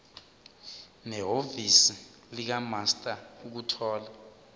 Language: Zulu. nehhovisi likamaster ukuthola